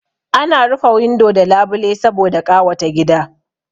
Ana rufe windo da labile saboda ƙawata gida